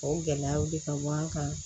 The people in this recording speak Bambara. O gɛlɛyaw de kanu an kan